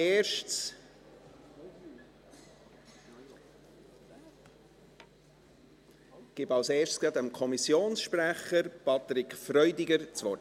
Zuerst gebe ich dem Kommissionssprecher, Patrick Freudiger, das Wort.